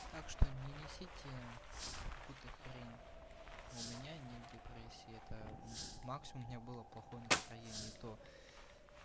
так что не несите какую то хрень у меня нет депрессии это максимум у меня было плохое настроение и то